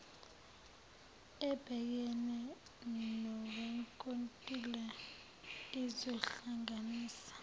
ebhekene nowenkontileka izohlanganisa